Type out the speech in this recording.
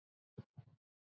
Djúp spor og stór.